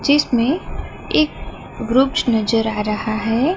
जिसमें एक ग्रुप्स नजर आ रहा है।